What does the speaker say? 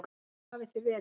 Hvar hafið þið verið?